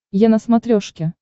е на смотрешке